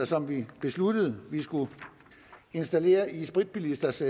som vi besluttede vi skulle installere i spritbilisters